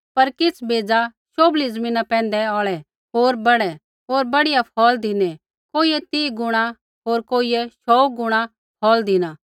पर किछ़ बेज़ा शोभली ज़मीना पैंधै औल़ै होर बहड़े होर बढ़िया फ़ौल़ धिनै कोइयै तीह गुणा होर कोइयै शौऊ गुणा फ़ौल़ धिना